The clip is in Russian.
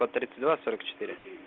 сто тридцать два сорок четыре